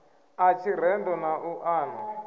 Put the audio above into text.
ḽa tshirendo na u ṱana